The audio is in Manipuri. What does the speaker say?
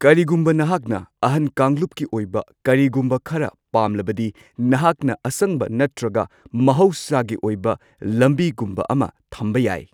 ꯀꯔꯤꯒꯨꯝꯕ ꯅꯍꯥꯛꯅ ꯑꯍꯟ ꯀꯥꯡꯂꯨꯞꯀꯤ ꯑꯣꯏꯕ ꯀꯔꯤꯒꯨꯝꯕ ꯈꯔ ꯄꯥꯝꯂꯕꯗꯤ, ꯅꯥꯍꯛꯅ ꯑꯁꯪꯕ ꯅꯠꯇ꯭ꯔꯒ ꯃꯍꯧꯁꯥꯒꯤ ꯑꯣꯏꯕ ꯂꯝꯕꯤꯒꯨꯝꯕ ꯑꯃ ꯊꯝꯕ ꯌꯥꯏ꯫